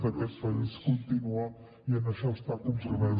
d’aquest país continua i en això està compromès